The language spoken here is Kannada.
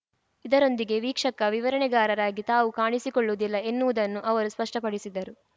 ಇದರೊಂದಿಗೆ ವೀಕ್ಷಕ ವಿವರಣೆಗಾರರಾಗಿ ತಾವು ಕಾಣಿಸಿಕೊಳ್ಳುವುದಿಲ್ಲ ಎನ್ನುವುದನ್ನು ಅವರು ಸ್ಪಷ್ಟಪಡಿಸಿದರು